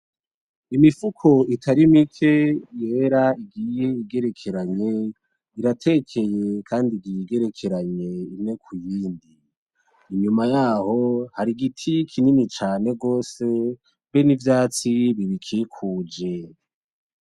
Imifuko itari mike yera igiye igerekeranye, iratekeye kandi igiye igerekeranye imwe kuyindi, inyuma yaho hari igiti kinini cane gose be n'ivyatsi bibikikuje.